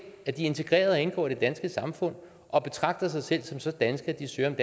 at de er integreret og indgår i det danske samfund og betragter sig selv som så danske at de søger om